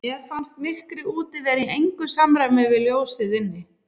Mér fannst myrkrið úti vera í engu samræmi við ljósið inni.